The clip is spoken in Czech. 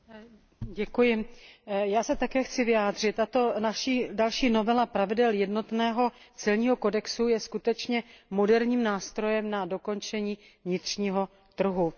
Paní předsedající, já se také chci vyjádřit, a to naše další novela pravidel jednotného celního kodexu je skutečně moderním nástrojem na dokončení vnitřního trhu.